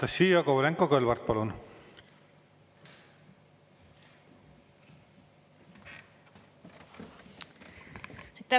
Anastassia Kovalenko-Kõlvart, palun!